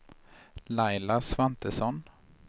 Laila Svantesson